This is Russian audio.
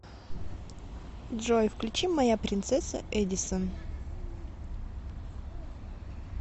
джой включи моя принцесса эдисон